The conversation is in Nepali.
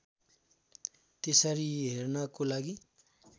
त्यसरी हेर्नको लागि